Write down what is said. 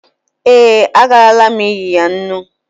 Ee, agarala m inye ya nnu.